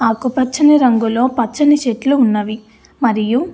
ఆకుపచ్చని రంగులో పచ్చని చెట్లు ఉన్నవి. మరియు --